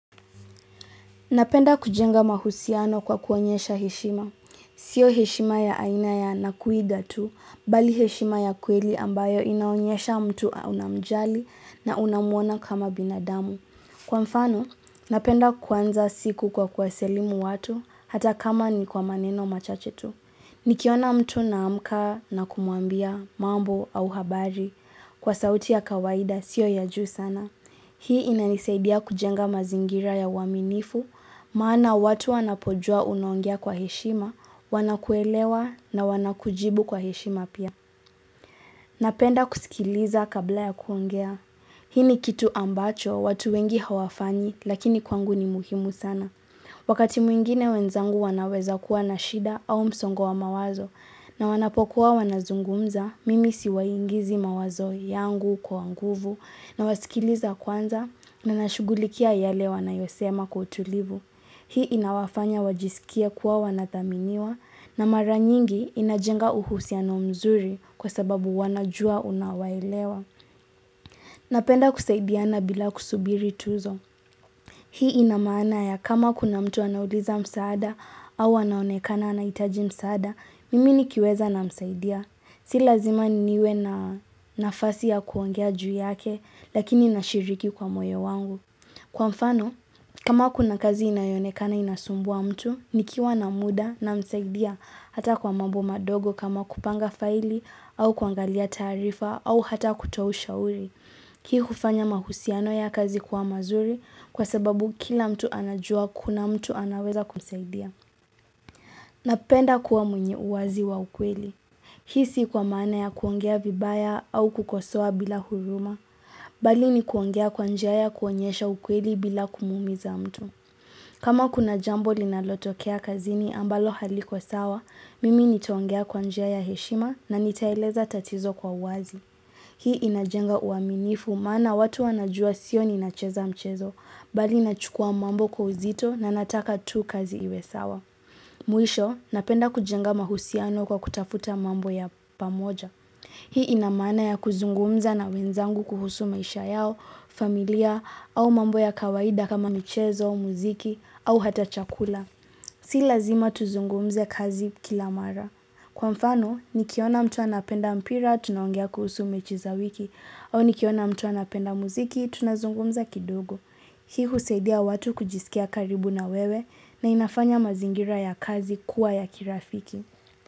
Napenda kujenga mahusiano kwa kuonyesha heshima. Sio heshima ya aina ya nakuiga tu, mbali heshima ya kweli ambayo inaonyesha mtu unamjali na unamwona kama binadamu. Kwa mfano, napenda kuanza siku kwa kuwasalimu watu hata kama ni kwa maneno machache tu. Nikiona mtu naamka na kumuambia mambo au habari. Kwa sauti ya kawaida, sio ya juu sana. Hii inanisaidia kujenga mazingira ya uaminifu, maana watu wanapojua unaongea kwa heshima, wanakuelewa na wanakujibu kwa heshima pia. Napenda kusikiliza kabla ya kuongea. Hii ni kitu ambacho, watu wengi hawafanyi, lakini kwangu ni muhimu sana. Wakati mwingine wenzangu wanaweza kuwa na shida au msongo wa mawazo, na wanapokuwa wanazungumza, Mimi siwaingizi mawazo yangu kwa nguvu na wasikiliza kwanza na nashugulikia yale wanayosema kwa utulivu. Hii inawafanya wajisikie kuwa wanathaminiwa na mara nyingi inajenga uhusiano mzuri kwa sababu wanajua unawaelewa. Napenda kusaidiana bila kusubiri tuzo. Hii inamaana ya kama kuna mtu anauliza msaada au anaonekana anahitaji msaada, Mimi nikiweza namsaidia si lazima niwe na nafasi ya kuongea juu yake Lakini nashiriki kwa moyo wangu Kwa mfano, kama kuna kazi inayoonekana inasumbua mtu nikiwa na muda namsaidia Hata kwa mambo madogo kama kupanga faili au kwangalia taarifa au hata kutoa ushauri hii hufanya mahusiano ya kazi kuwa mazuri Kwa sababu kila mtu anajua kuna mtu anaweza kumsaidia Napenda kuwa mwenye uwazi wa ukweli. Hii si kwa maana ya kuongea vibaya au kukosoa bila huruma. Bali ni kuongea kwa njia ya kuonyesha ukweli bila kumuumiza mtu. Kama kuna jambo linalotokea kazini ambalo haliko sawa, mimi nitaongea kwa njia ya heshima na nitaeleza tatizo kwa uwazi. Hii inajenga uaminifu maana watu wanajua sio nina cheza mchezo. Bali nachukua mambo kwa uzito na nataka tu kazi iwe sawa. Mwisho, napenda kujenga mahusiano kwa kutafuta mambo ya pamoja Hii inamana ya kuzungumza na wenzangu kuhusu maisha yao, familia, au mambo ya kawaida kama michezo, muziki, au hata chakula Si lazima tuzungumze kazi kila mara Kwa mfano, nikiona mtu anapenda mpira, tunaongea kuhusu mechi za wiki au nikiona mtu anapenda muziki, tunazungumza kidogo Hii husaidia watu kujiskia karibu na wewe na inafanya mazingira ya kazi kuwa ya kirafiki.